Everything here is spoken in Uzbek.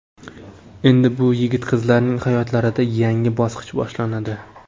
Endi bu yigit-qizlarning hayotlarida yangi bosqich boshlanadi.